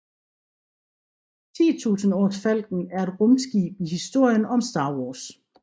Tusindårsfalken er et rumskib i historien om Star Wars